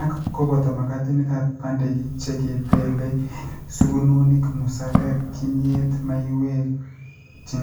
Ak kobooto magatiinikap bandeki, che kibeelei eng' sugunonik, musarek , kimyet , maiyek che